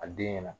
A den ɲɛna